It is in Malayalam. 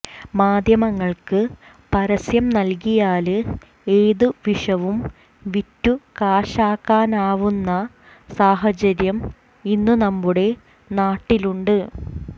മാധ്യമങ്ങള്ക്ക് പരസ്യം നല്കിയാല് ഏതു വിഷവും വിറ്റു കാശാക്കാനാവുന്ന സാഹചര്യം ഇന്നും നമ്മുടെ നാട്ടില് ഉണ്ട്